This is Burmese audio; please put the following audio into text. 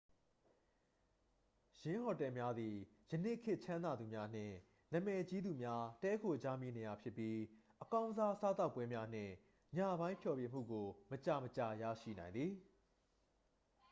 """ယင်းဟိုတယ်များသည် ယနေ့ခေတ် ချမ်းသာသူများနှင့် နာမည်ကြီးသူများ တည်းခိုကြမည့်နေရာများဖြစ်ပြီး အကောင်းစား စားသောက်ပွဲများနှင့် ညပိုင်းဖျော်ဖြေမှုကို မကြာမကြာ ရရှိနိုင်သည်။""